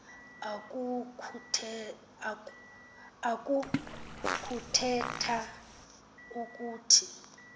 oku kuthetha ukuthi